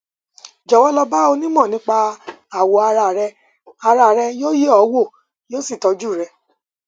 jọwọ lọ bá onímọ nípa awọ ara rẹ ara rẹ yóò yẹ ọ wò yóò sì tọjú rẹ